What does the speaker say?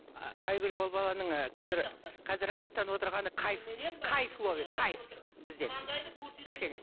айгүл ол баланың ы қазір қазір рахаттанып отырғаны кайф кайф ловит кайф бізден кішкене